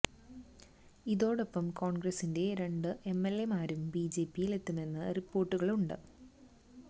ഇതോടൊപ്പം കോൺഗ്രസിന്റെ രണ്ടു എം എൽ എ മാരും ബി ജെ പിയിലെത്തുമെന്ന റിപ്പോർട്ടുകളുണ്ട്